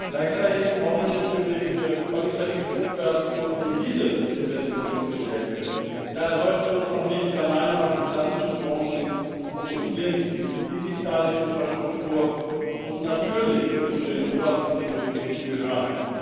Gleichzeitig brauchen wir natürlich qualitativ hochwertige, solide Investitionsprojekte. Daher sollten wir uns auch nicht alleine auf die klassischen Branchen konzentrieren, die digitale Infrastruktur muss natürlich zu den obersten Prioritäten gehören.